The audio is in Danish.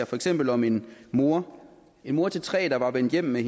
for eksempel om en mor en mor til tre der var vendt hjem med